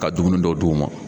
Ka dumuni dɔ d'u ma.